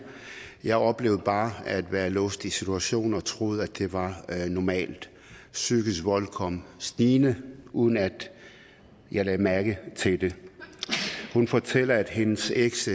jeg oplevede bare at være låst i situationen og troede at det var normalt psykisk vold kom snigende uden at jeg lagde mærke til det hun fortæller at hendes eks